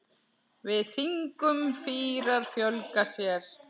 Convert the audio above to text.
Með þingum fýrar fjölga sér.